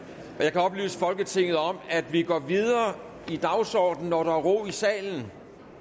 kan oplyse folketinget om at vi går videre i dagsordenen når der er ro i salen